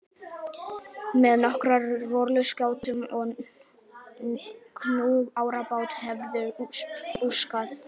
Með nokkrar rolluskjátur, kú og árabát hefurðu búskap.